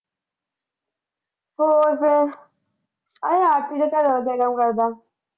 ਹੋਰ ਫਿਰ ਅਹੇ ਆਰਤੀ ਦਾ ਘਰਵਾਲਾ ਕੀ ਕੰਮ ਕਰਦਾ